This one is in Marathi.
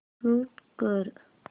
म्यूट कर